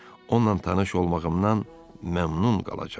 Onunla tanış olmağımdan məmnun qalacağam.